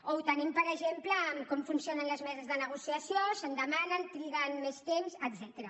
o ho tenim per exemple en com funcionen les meses de negociació si en demanen triguen més temps etcètera